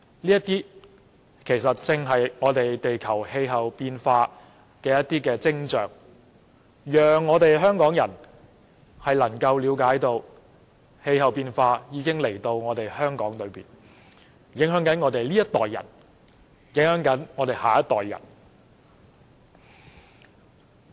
這些其實正是地球氣候變化的徵象，讓香港人了解到氣候變化的問題已於香港出現，影響我們這一代及下一代。